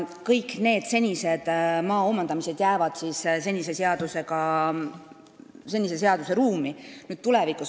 Kõik need senised maa omandamised jäävad senise seaduse ruumi.